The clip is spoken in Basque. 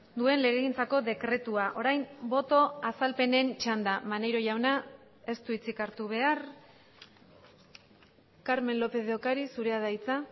duen legegintzako dekretua orain boto azalpenen txanda maneiro jauna ez du hitzik hartu behar carmen lópez de ocariz zurea da hitza